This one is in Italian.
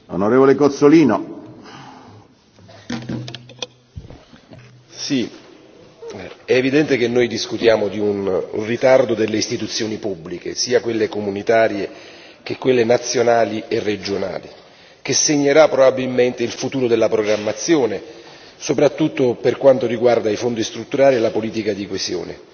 Signor Presidente, onorevoli colleghi, è evidente che noi discutiamo di un ritardo delle istituzioni pubbliche, sia quelle comunitarie che quelle nazionali e regionali, che segnerà probabilmente il futuro della programmazione, soprattutto per quanto riguarda i fondi strutturali e la politica di coesione.